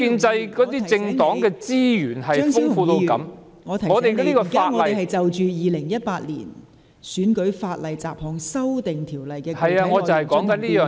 張超雄議員，我提醒你，本會現正就《2018年選舉法例條例草案》的具體內容進行辯論。